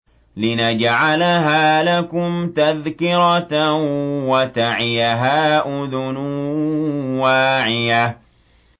لِنَجْعَلَهَا لَكُمْ تَذْكِرَةً وَتَعِيَهَا أُذُنٌ وَاعِيَةٌ